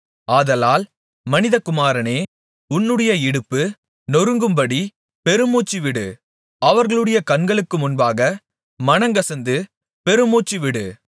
ஆதலால் மனிதகுமாரனே உன்னுடைய இடுப்பு நொறுங்கும்படி பெருமூச்சுவிடு அவர்களுடைய கண்களுக்கு முன்பாக மனங்கசந்து பெருமூச்சுவிடு